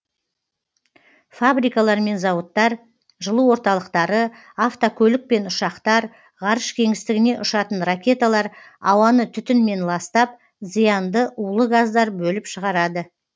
фабрикалар мен зауыттар жылу орталықтары автокөлік пен ұшақтар ғарыш кеңістігіне ұшатын ракеталар ауаны түтінмен ластап зиянды улы газдар бөліп шығарады